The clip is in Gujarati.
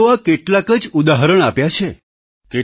મેં તો આ કેટલાક જ ઉદાહરણ આપ્યા છે